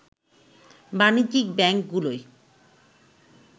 বাণিজ্যিক ব্যাংকগুলোয়